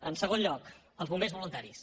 en segon lloc els bombers voluntaris